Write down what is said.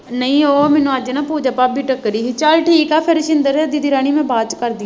ਨਹੀਂ ਉਹ ਮੈਨੂੰ ਅੱਜ ਨਾ ਪੂਜਾ ਭਾਬੀ ਟੱਕਰੀ ਸੀ, ਚੱਲ ਠੀਕ ਹੈ ਫੇਰ ਸ਼ਿੰਦਰ ਦੀਦੀ ਰਾਣੀ ਮੈਂ ਬਾਅਦ ਚ ਕਰਦੀ ਹਾਂ